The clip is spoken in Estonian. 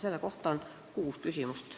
Selle kohta on meil kuus küsimust.